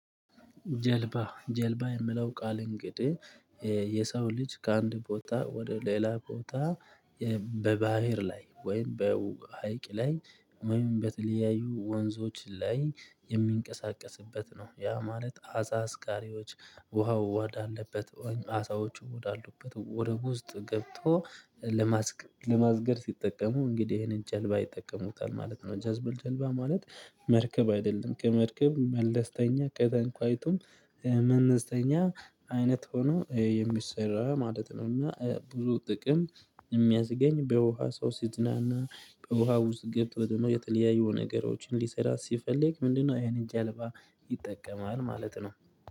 ጀልባ ጀልባ የሚለው ቃል እንግዲህ የሰው ልጅ ከአንድ ቦታ ወደ ሌላ ቦታ በባህር ላይ ወይም በሀይቅ ላይ ወይም በተለያዩ ወንዞች ላይ የሚንቀሳቀስበት ነው ያ ማለት አሳ አስቃሪዎች ውሃው ወዳለበት ሆነ አሳዎቹ ወዳሉበት ወደ ውስጥ ገብቶ ለማስገር ለማስገር ሲጠቀሙ እንግዲህ ይሄንን ጀልባ ይጠቀሙታል ማለት ነው። ጀልባ ማለት መርከብ አይደለም ከመርከብ መለስተኛ ከተንኳይቱም መለሰተኛ አይነት ሆኖ የሚሰራ ማለት ነው። እና ብዙ ጥቅም የሚያስገኝ በውሃ ሰው ሲዝናና በውሃ ውስጥ ገብቶ ደግሞ የተለያየው ነገሮችን ሊሰራ ሲፈልግ ምንድነው? ይሄንን ጀልባ ይጠቀማል ማለት ነው።